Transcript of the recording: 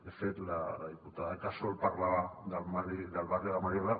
de fet la diputada casol parlava del barri de la mariola